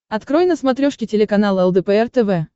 открой на смотрешке телеканал лдпр тв